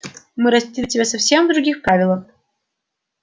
мы растили тебя совсем в других правилах